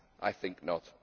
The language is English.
I think not.